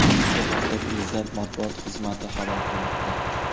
Bu haqda Prezident matbuot xizmati xabar qilmoqda.